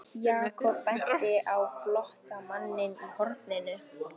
Jakob benti á flóttamanninn í horninu.